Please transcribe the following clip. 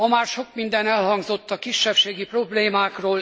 Ma már sok minden elhangzott a kisebbségi problémákról.